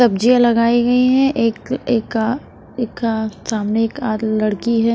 सब्जियां लगाई गई हैं एक एका एका सामने एकाध लड़की है।